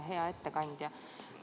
Hea ettekandja!